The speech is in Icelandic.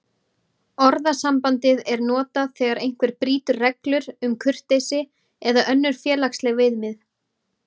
Orðasambandið er notað þegar einhver brýtur reglur um kurteisi eða önnur félagsleg viðmið.